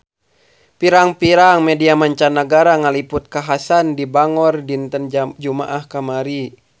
Pirang-pirang media mancanagara ngaliput kakhasan di Bangor dinten Jumaah kamari